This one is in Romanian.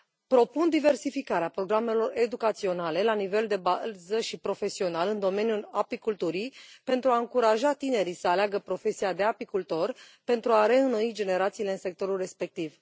Propun diversificarea programelor educaționale la nivel de bază și profesional în domeniul apiculturii, pentru a încuraja tinerii să aleagă profesia de apicultor, pentru a reînnoi generațiile în sectorul respectiv.